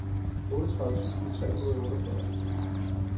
otteogtredive tusind tre hundrede og otteogfyrre